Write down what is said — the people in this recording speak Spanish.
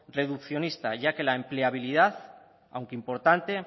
reduccionista ya que la empleabilidad aunque importante